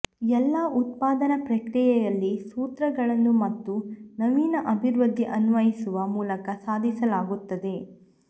ಎಲ್ಲಾ ಉತ್ಪಾದನಾ ಪ್ರಕ್ರಿಯೆಯಲ್ಲಿ ಸೂತ್ರಗಳನ್ನು ಮತ್ತು ನವೀನ ಅಭಿವೃದ್ಧಿ ಅನ್ವಯಿಸುವ ಮೂಲಕ ಸಾಧಿಸಲಾಗುತ್ತದೆ